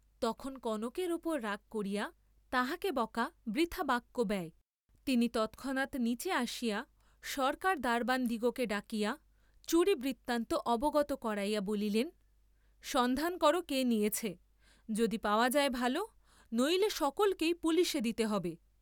তখন কনকের উপর রাগ করিয়া তাহাকে বকা বৃথা বাক্যব্যয়, তিনি তৎক্ষণাৎ নীচে আসিয়া সরকার দ্বারবানদিগকে ডাকাইয়া চুরি বৃত্তান্ত অবগত করাইয়া বলিলেন, সন্ধান কর কে নিয়েছে, যদি পাওয়া যায় ভাল, নইলে সকলকেই পুলিসে দিতে হ’বে।